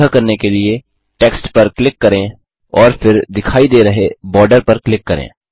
यह करने के लिए टेक्स्ट पर क्लिक करें और फिर दिखाई दे रहे बार्डर पर क्लिक करें